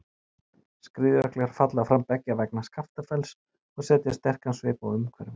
Skriðjöklar falla fram beggja vegna Skaftafells og setja sterkan svip á umhverfið.